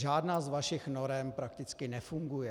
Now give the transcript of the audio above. Žádná z vašich norem prakticky nefunguje.